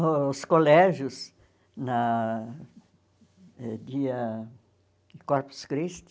Os colégios, na dia de Corpus Christi,